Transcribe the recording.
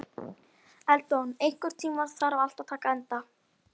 Eldon, einhvern tímann þarf allt að taka enda.